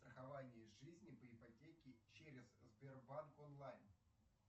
страхование жизни по ипотеке через сбербанк онлайн